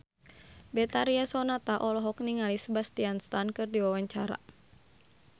Betharia Sonata olohok ningali Sebastian Stan keur diwawancara